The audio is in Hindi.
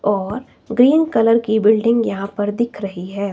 और ग्रीन कलर की बिल्डिंग यहां पर दिख रही है।